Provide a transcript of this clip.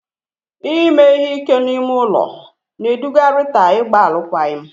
Ime ihe ike n'ime ụlọ na-eduga Rita ịgba alụkwaghịm.